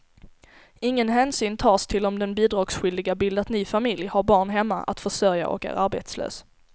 Ingen hänsyn tas till om den bidragsskyldige bildat ny familj, har barn hemma att försörja och är arbetslös.